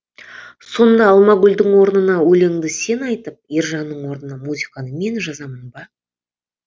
сонда алмагүлдің орнына өлеңді сен айтып ержанның орнына музыканы мен жазамын ба